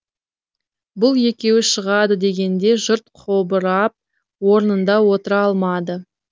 бұл екеуі шығады дегенде жұрт қобырап орнында отыра алмады